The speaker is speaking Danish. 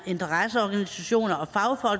interesseorganisationer